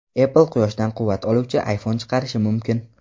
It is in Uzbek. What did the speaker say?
Apple quyoshdan quvvat oluvchi iPhone chiqarishi mumkin.